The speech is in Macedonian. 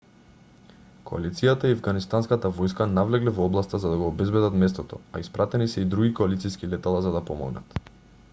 коалицијата и афганистанската војска навлегле во областа за да го обезбедат местото а испратени се и други коалициски летала за да помогнат